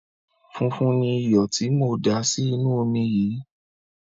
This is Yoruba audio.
Funfun ni iyọ̀ tí mò ń dà sí inú omi yìí.